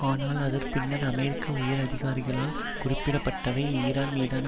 ஆனால் அதன் பின்னர் அமெரிக்க உயர் அதிகாரிகளால் குறிப்பிடப்பட்டவை ஈரான் மீதான